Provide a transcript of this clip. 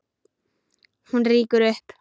Hún rýkur upp.